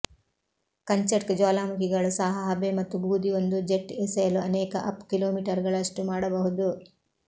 Kamchatka ಜ್ವಾಲಾಮುಖಿಗಳು ಸಹ ಹಬೆ ಮತ್ತು ಬೂದಿ ಒಂದು ಜೆಟ್ ಎಸೆಯಲು ಅನೇಕ ಅಪ್ ಕಿಲೋಮೀಟರುಗಳಷ್ಟು ಮಾಡಬಹುದು